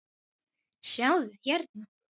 sjáðu, hérna.